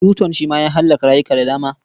Yuton shi ma ya hallaka rayuka da dama.